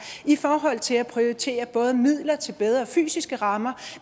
i forhold til at prioritere både midler til bedre fysiske rammer